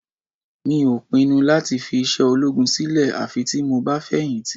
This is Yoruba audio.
Mi ò pinnu láti fi iṣẹ́ ológun sílẹ̀ àfi tí mo bá fẹ̀yìntì